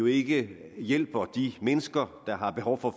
ikke hjælper de mennesker der har behov for